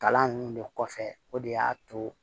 Kalan ninnu de kɔfɛ o de y'a to